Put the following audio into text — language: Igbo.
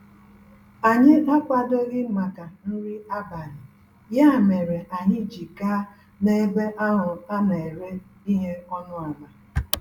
Anyị akwadoghị màkà nri abalị, ya mèrè anyị ji gaa n'ebe ahụ a n'éré ihe ọnụ àlà